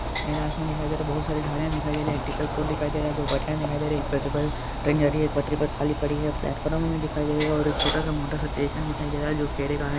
हम नीला आसमान दिखाई दे रहा है बहुत साडी गाड़िया दिखाई दे रही हे फ्लैट फॉर्म बी दिखाई दे रहा हे और छोटा स मोटा सा स्टेशन दिखाई दे रहा हे --